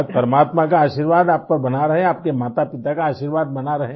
बस परमात्मा का आशीर्वाद आप पर बना रहे आपके मातापिता का आशीर्वाद बना रहे